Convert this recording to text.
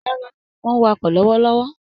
Rárá, mò ń wàkọ̀ lọ́wọ́lọ́wọ́